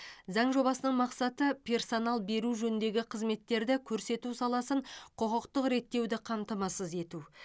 заң жобасының мақсаты персонал беру жөніндегі қызметтерді көрсету саласын құқықтық реттеуді қамтамасыз ету